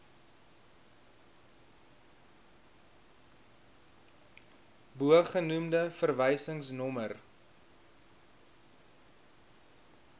bogenoemde verwysings nommer